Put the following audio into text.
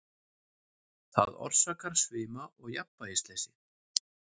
Það orsakar svima og jafnvægisleysi.